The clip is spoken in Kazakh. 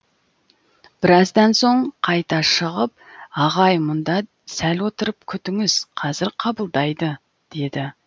біраздан соң қайта шығып ағай мұнда сәл отырып күтіңіз қазір қабылдайды деді